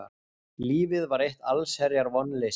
Lífið var eitt allsherjar vonleysi.